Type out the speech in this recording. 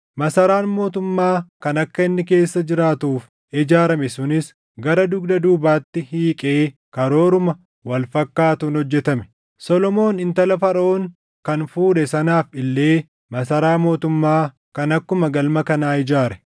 Masaraan mootummaa kan akka inni keessa jiraatuuf ijaarame sunis gara dugda duubaatti hiiqee karooruma wal fakkaatuun hojjetame. Solomoon intala Faraʼoon kan fuudhe sanaaf illee masaraa mootummaa kan akkuma galma kanaa ijaare.